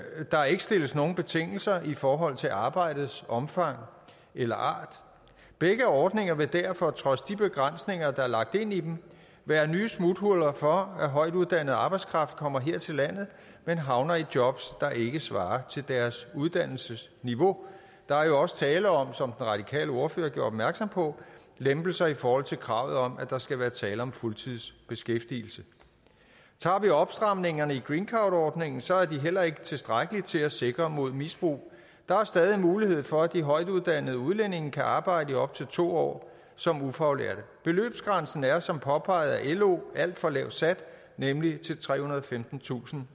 der ikke stilles nogle betingelser i forhold til arbejdets omfang eller art begge ordninger vil derfor trods de begrænsninger der er lagt ind i dem være nye smuthuller for at højtuddannet arbejdskraft kommer her til landet men havner i jobs der ikke svarer til deres uddannelsesniveau der er jo også tale om som radikale ordfører gjorde opmærksom på lempelser i forhold til kravet om at der skal være tale om fuldtidsbeskæftigelse tager vi opstramningerne i greencardordningen så er de heller ikke tilstrækkeligt til at sikre mod misbrug der er stadig mulighed for at de højtuddannede udlændinge kan arbejde i op til to år som ufaglærte beløbsgrænsen er som påpeget af lo alt for lavt sat nemlig trehundrede og femtentusind